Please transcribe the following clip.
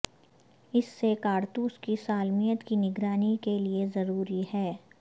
اس سے کارتوس کی سالمیت کی نگرانی کے لئے ضروری ہے